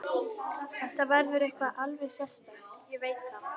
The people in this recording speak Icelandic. Þetta verður eitthvað alveg sérstakt, ég veit það.